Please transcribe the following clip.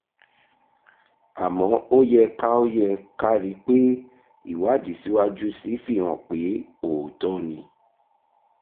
àmọ́ ó yẹ ká ó yẹ ká rí i pé ìwádìí síwájú sí i fi hàn pé òótọ́ ni